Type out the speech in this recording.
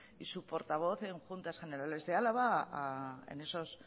y su portavoz en juntas generales de álava en esos